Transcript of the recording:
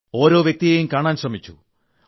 ഓരോ വ്യക്തിയേയും കാണാൻ ശ്രമിച്ചു